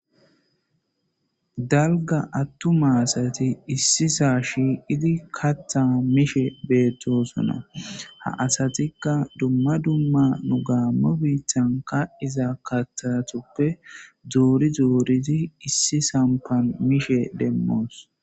Daligga atuma asati ississa shiqqiddi kaththa mishshe betosona.ha asatikka dumma dumma nuu Gamo bitanni kaxxiza kaththutappe Dori dorid issi sampanni mishshe demos.